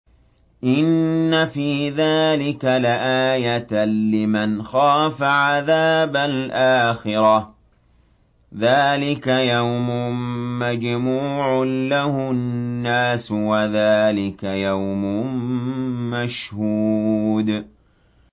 إِنَّ فِي ذَٰلِكَ لَآيَةً لِّمَنْ خَافَ عَذَابَ الْآخِرَةِ ۚ ذَٰلِكَ يَوْمٌ مَّجْمُوعٌ لَّهُ النَّاسُ وَذَٰلِكَ يَوْمٌ مَّشْهُودٌ